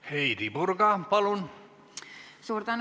Heidy Purga, palun!